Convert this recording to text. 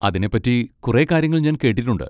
അതിനെ പറ്റി കുറെ കാര്യങ്ങൾ ഞാൻ കേട്ടിട്ടുണ്ട്.